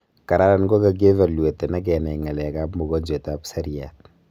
kararan kokakievaluaten akenai ngalekap mogonjwet ap seriat